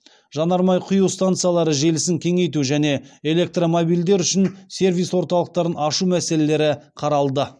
жанармай құю станциялары желісін кеңейту және электромобильдер үшін сервис орталықтарын ашу мәселелері қаралды